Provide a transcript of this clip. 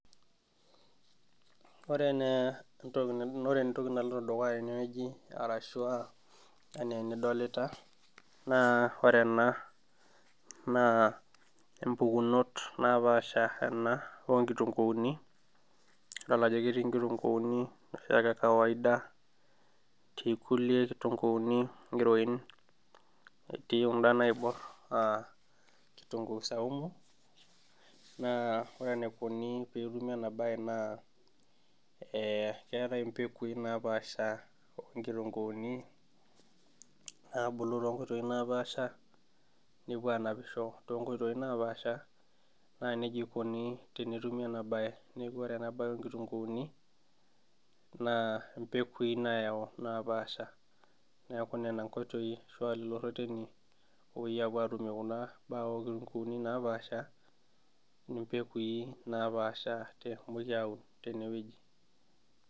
Ore naa ore entoki naloito dukuya tenewueji arashua enaa enidolita, naa ore ena naa impukunot napaasha ena onkitunkuuni, idol ajo ketii nkitunkuuni noshiake ekawaida, etii kulie kitunkuuni ng'iroin, etii kunda naibor kitunkuu saumu, naa ore enaikoni petumi enabae naa keetae impekui napaasha onkitunkuuni, nabulu tonkoitoii napaasha, nepuo anapisho tonkoitoi napaasha, naa nejia ikoni tenetumi enabae. Neeku ore enabae onkitunkuuni, naa impekui nayau napaasha. Neeku nena nkoitoi ashu lolo rreteni opoi apuo atumie kuna baa onkitunkuuni napaasha, impekui napaasha nehomoki aun tenewueji.